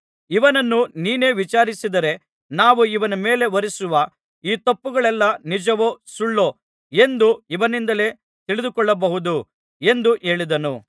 ಇವನನ್ನು ನೀನೇ ವಿಚಾರಿಸಿದರೆ ನಾವು ಇವನ ಮೇಲೆ ಹೊರಿಸುವ ಈ ತಪ್ಪುಗಳೆಲ್ಲಾ ನಿಜವೋ ಸುಳ್ಳೋ ಎಂದು ಇವನಿಂದಲೇ ತಿಳಿದುಕೊಳ್ಳಬಹುದು ಎಂದು ಹೇಳಿದನು